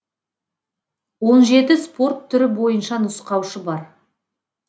он жеті спорт түрі бойынша нұсқаушы бар